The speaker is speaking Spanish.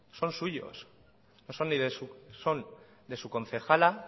son suyos son de su concejala